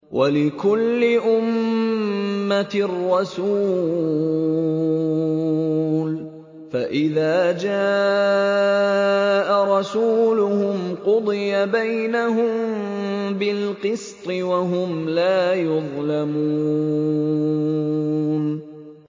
وَلِكُلِّ أُمَّةٍ رَّسُولٌ ۖ فَإِذَا جَاءَ رَسُولُهُمْ قُضِيَ بَيْنَهُم بِالْقِسْطِ وَهُمْ لَا يُظْلَمُونَ